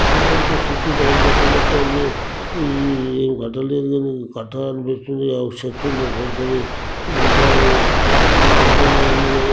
ఇదంతా షుట్టు రైలు గట్ట లెక్కుంది ఈ ఏం గట్ట లేదు గని కట్టాలని పిస్తుంది చెట్టు ఉంది పెద్దది ఇదంతా--